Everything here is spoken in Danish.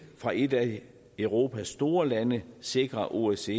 fra et af europas store lande sikre at osce